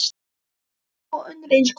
Og þvílík og önnur eins gól.